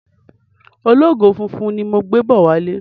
Ológò funfun ni mò ń gbé bọ̀ wálé.